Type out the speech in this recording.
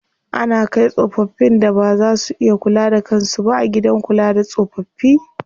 Ana kai tsofaffin da baza su iya kula da kan su ba gidan kula da tsofaffi.